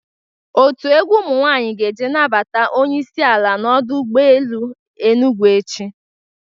Otu egwu ụmụ nwaanyị ga-eje nabata onyeisi ala n'ọdụ ụgbọ ele Enugwu echi.